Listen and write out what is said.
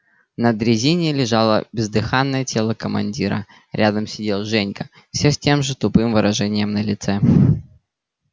на дрезине лежало бездыханное тело командира рядом сидел женька все с тем же тупым выражением на лице